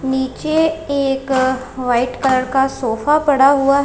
नीचे एक white colour का सोफा पड़ा हुआ है।